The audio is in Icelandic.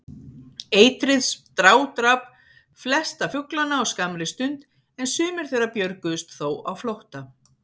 Eitrið strádrap flesta fuglana á skammri stund, en sumir þeirra björguðust þó á flótta.